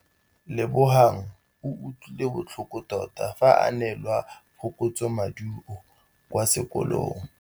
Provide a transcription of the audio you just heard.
Lebogang o utlwile botlhoko tota fa a neelwa phokotsômaduô kwa sekolong.